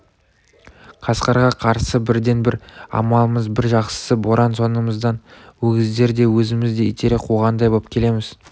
қасқырға қарсы бірден-бір амалымыз бір жақсысы боран соңымыздан өгіздер де өзіміз де итере қуғандай боп келеміз